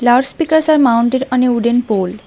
Loudspeakers are mounted on a wooden pole.